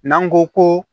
N'an ko ko